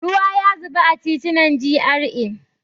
Ruwa ya zuba a titunan GRA.